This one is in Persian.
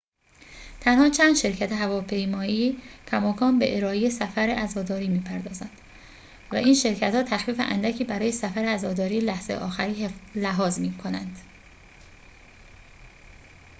تنها چند شرکت هواپیمایی کماکان به ارائه سفر عزاداری می‌پردازند و این شرکت‌ها تخفیف اندکی برای سفر عزاداری لحظه آخری لحاظ می‌کنند